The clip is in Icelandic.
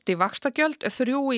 í vaxtagjöld þrjú í